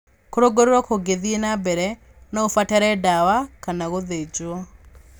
Kũrũngũrĩrwo kũngĩthiĩ na mbere, no ũbatare ndawa kana gũthĩnjwo.